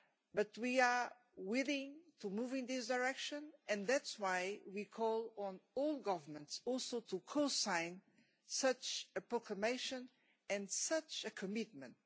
But we are willing to move in this direction and that is why we call on all governments also to co sign such a proclamation and such a commitment.